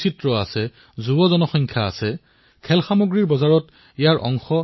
এতিয়া সকলোৰে বাবে থলুৱা খেলাসামগ্ৰীৰ বাবে মাতমতাৰ সময়